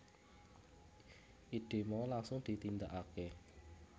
Ide mau langsung ditindakake